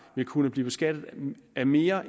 vil kunne blive beskattet af mere